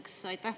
Esiteks aitäh!